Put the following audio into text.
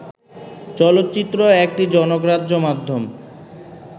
চলচ্চিত্র একটি জনগ্রাহ্য মাধ্যম